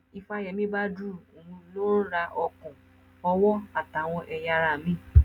ìfàyèmi badru òun ló ń ra ọkàn ọwọ́ àtàwọn ẹ̀yà ara míìn